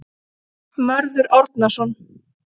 Mörður Árnason.